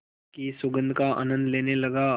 की सुगंध का आनंद लेने लगा